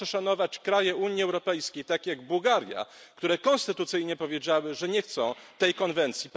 Proszę szanować kraje Unii Europejskiej takie jak Bułgaria, które konstytucyjnie powiedziały, że nie chcą tej konwencji.